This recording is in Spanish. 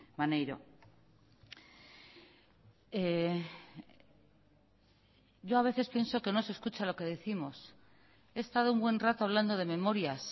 maneiro yo a veces pienso que no se escucha lo que décimos he estado un buen rato hablando de memorias